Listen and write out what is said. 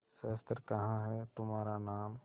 शस्त्र कहाँ है तुम्हारा नाम